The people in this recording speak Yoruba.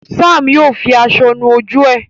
Sam yíò fí aṣọ nù ojú e.